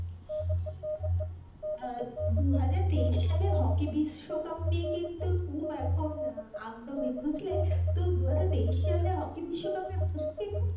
আহ দু হাজার তেইশ সালে হকি বিশ্ব কাপ নিয়ে কিন্তু খুব এখন আহ আগ্রহী বুঝলে তো দু হাজার তেইশ সালে হকি বিশ্বকাপে,